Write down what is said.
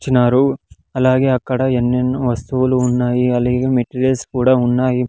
--చీనరు అలాగే అక్కడ ఎన్నెన్నో వస్తువులు ఉన్నాయి అలాగే మెటీరియల్స్ కూడా ఉన్నాయి.